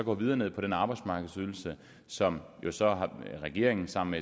og videre ned på den arbejdsmarkedsydelse som regeringen sammen